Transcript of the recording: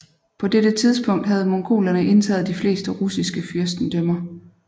På dette tidspunkt havde mongolerne indtaget de fleste russiske fyrstendømmer